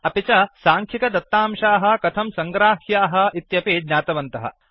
अपि च साङ्ख्यिकदत्तांशाः कथं सङ्ग्राह्याः इत्यपि ज्ञातवन्तः